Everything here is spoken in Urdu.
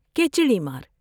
کہ چڑی مار ۔